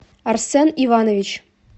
арсен иванович